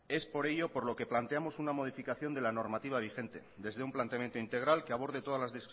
es por ello por lo que planteamos una modificación de la normativa vigente desde un planteamiento integral que aborde todas las